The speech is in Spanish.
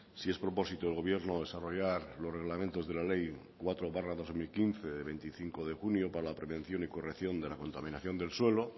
si es propósito del gobierno desarrollar los reglamentos de la ley cuatro barra dos mil quince de veinticinco de junio para la prevención y corrección de la contaminación del suelo